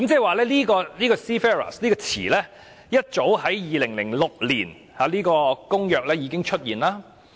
換言之 ，"Seafarers" 這用詞早於2006年在《公約》已經出現。